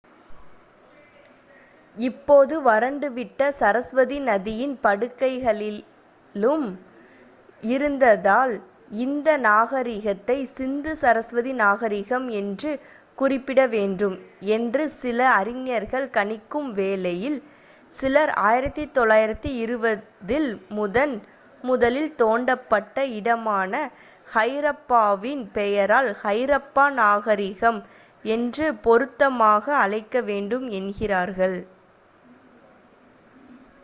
இப்போது வறண்டு விட்ட சரஸ்வதி நதியின் படுகைகளிலும் இருந்ததால் இந்த நாகரீகத்தை சிந்து சரஸ்வதி நாகரீகம் என்று குறிப்பிட வேண்டும் என்று சில அறிஞர்கள் கணிக்கும் வேளையில் சிலர் 1920ல் முதன் முதலில் தோண்டப்பட்ட இடமான ஹரப்பாவின் பெயரால் ஹரப்பா நாகரீகம் என்று பொருத்தமாக அழைக்க வேண்டும் என்கிறார்கள்